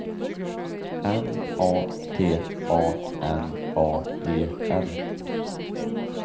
N A T A N A E L